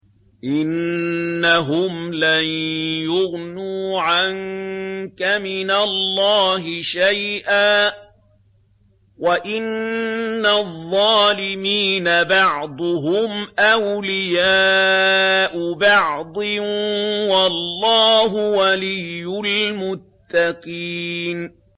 إِنَّهُمْ لَن يُغْنُوا عَنكَ مِنَ اللَّهِ شَيْئًا ۚ وَإِنَّ الظَّالِمِينَ بَعْضُهُمْ أَوْلِيَاءُ بَعْضٍ ۖ وَاللَّهُ وَلِيُّ الْمُتَّقِينَ